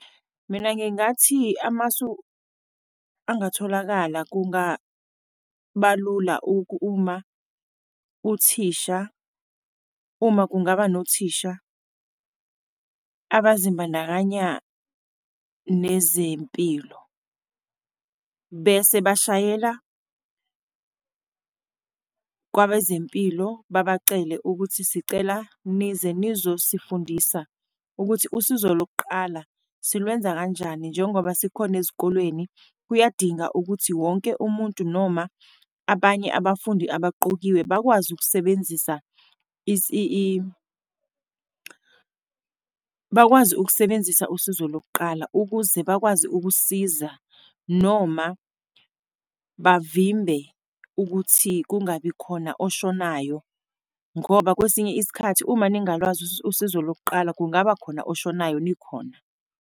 Mina ngingathi amasu angatholakala kungaba lula uma uthisha, uma kungaba nothisha abazimbandakanya nezempilo, bese bashayela kwabezempilo babacele ukuthi sicela nize nizoyifundisa ukuthi usizo lokuqala silwenze kanjani. Njengoba sikhona ezikolweni, kuyadinga ukuthi wonke umuntu noma abanye abafundi abaqokiwe bakwazi ukusebenzisa bakwazi ukusebenzisa usizo lokuqala, ukuze bakwazi ukusiza, noma bavimbe ukuthi kungabi khona oshonayo, ngoba kwesinye isikhathi uma ningalwazi usizo lokuqala, kungaba khona oshonayo nikhona.